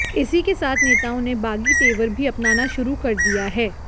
इसी के साथ नेताओं ने बागी तेवर भी अपनाना शुरू कर दिया है